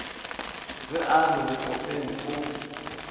ge a re lekope o